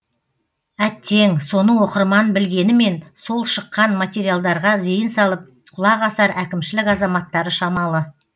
әттең соны оқырман білгенімен сол шыққан материалдарға зейін салып құлақ асар әкімшілік азаматтары шамалы